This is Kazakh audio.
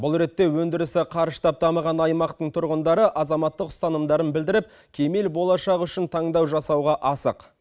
бұл ретте өндірісі қарыштап дамыған аймақтың тұрғындары азаматтық ұстанымдарын білдіріп кемел болашақ үшін таңдау жасауға асық